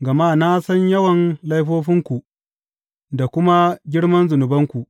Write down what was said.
Gama na san yawan laifofinku da kuma girman zunubanku.